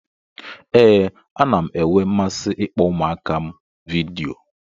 Ee, ana m enwe mmasị ịkpọ ụmụaka m a vidiyo.